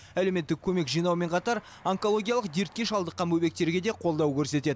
әлеуметтік көмек жинаумен қатар онкологиялық дертке шалдыққан бөбектерге де қолдау көрсетеді